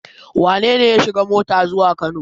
Wane ne ya shiga mota zuwa Kano?